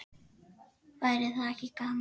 Væri það ekki gaman?